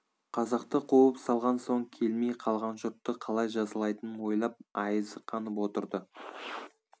қазақты қуып салған соң келмей қалған жұртты қалай жазалайтынын ойлап айызы қанып отырды